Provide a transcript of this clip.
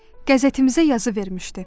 Qəzetimizə yazı vermişdi.